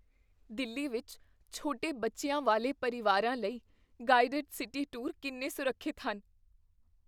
ਦਿੱਲੀ ਵਿੱਚ ਛੋਟੇ ਬੱਚਿਆਂ ਵਾਲੇ ਪਰਿਵਾਰਾਂ ਲਈ ਗਾਈਡਡ ਸਿਟੀ ਟੂਰ ਕਿੰਨੇ ਸੁਰੱਖਿਅਤ ਹਨ?